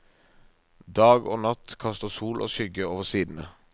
Dag og natt kaster sol og skygge over sidene.